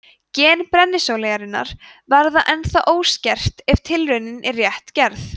gen brennisóleyjarinnar verða ennþá óskert ef tilraunin er rétt gerð